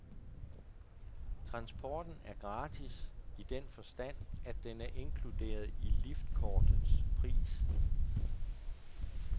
Transporten er gratis i den forstand, at den er inkluderet i liftkortets pris.